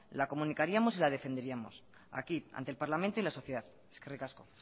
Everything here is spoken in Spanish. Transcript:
la comunicaríamos y la defenderíamos aquí ante el parlamento y la sociedad eskerrik asko